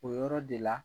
O yɔrɔ de la